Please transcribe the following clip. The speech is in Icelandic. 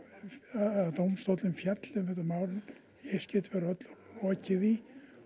að dómstóllinn fjalli um þetta mál í eitt skipti fyrir öll loki því